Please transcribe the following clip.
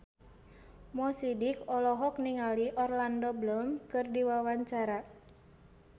Mo Sidik olohok ningali Orlando Bloom keur diwawancara